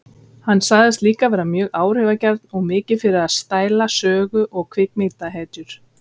Hann sagðist líka vera mjög áhrifagjarn og mikið fyrir að stæla sögu- og kvikmyndahetjur.